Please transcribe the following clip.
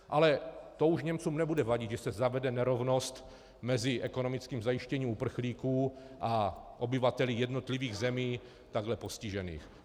Ale to už Němcům nebude vadit, že se zavede nerovnost mezi ekonomickým zajištěním uprchlíků a obyvateli jednotlivých zemí takhle postižených.